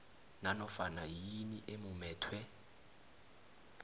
nanofana yini emumethwe